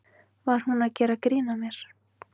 Var hún að gera grín að mér?